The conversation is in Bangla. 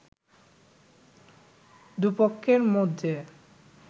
দুপক্ষের মধ্যে